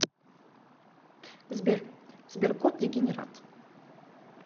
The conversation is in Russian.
сбер сберкот дегенерат